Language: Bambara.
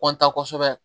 kɔntan kosɛbɛ